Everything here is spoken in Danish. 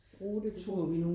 Rute?